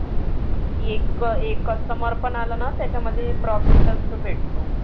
एक एक customer पण आलं ना त्याच्यामध्ये profit च भेटतो.